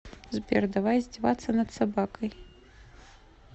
сбер давай издеваться над собакой